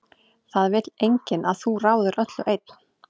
Það vill enginn að þú ráðir öllu einn.